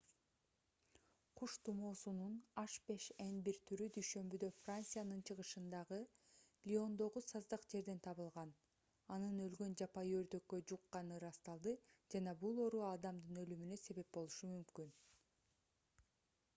куш тумоосунун h5n1 түрү дүйшөмбүдө франциянын чыгышындагы лиондогу саздак жерден табылган анын өлгөн жапайы өрдөккө жукканы ырасталды жана бул оору адамдын өлүмүнө себеп болушу мүмкүн